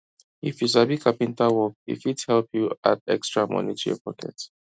if you sabi carpenter work e fit help you you add extra money to your pocket